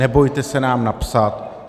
Nebojte se nám napsat.